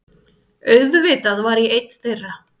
Auðvitað var ég einn þeirra!